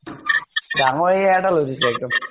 ডাঙৰ area এটা লৈ লৈছে, একদম